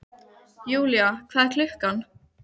Julia, hvað er klukkan?